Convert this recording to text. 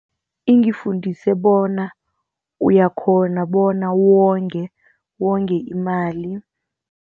Ingifundise bona uyakghona bona wonge imali.